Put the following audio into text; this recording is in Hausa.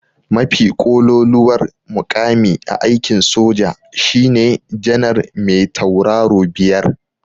Mafi ƙololuwar muƙami a aikin soja shine janar me tauraro biyar.